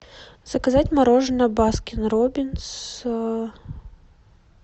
заказать мороженое баскин роббинс